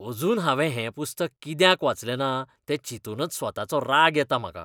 अजून हांवें हें पुस्तक कित्याक वाचलें ना तें चिंतूनच स्वताचो राग येता म्हाका.